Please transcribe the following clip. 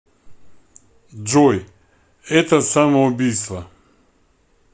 джой это самоубийство